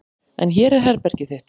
En hér er herbergið þitt.